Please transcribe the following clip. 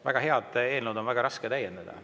Väga head eelnõu on väga raske täiendada.